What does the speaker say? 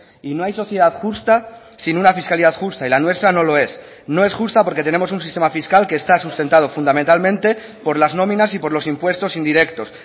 y no hay sociedad justa sin una fiscalidad justa y la nuestra no lo es no es justa porque tenemos un sistema fiscal que está sustentado fundamentalmente por las nóminas y por los impuestos indirectos